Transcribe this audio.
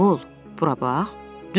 Oğul, bura bax.